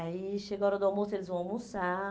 Aí chega a hora do almoço, eles vão almoçar.